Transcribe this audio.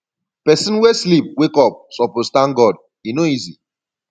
pesin wey sleep wake up suppose tank god e no easy